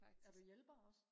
er du hjælper også